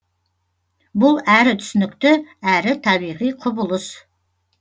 бұл әрі түсінікті әрі табиғи құбылыс